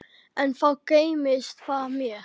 Enn þá geymist það mér.